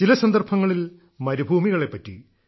ചില സന്ദർഭങ്ങളിൽ മരുഭൂമികളെപ്പറ്റി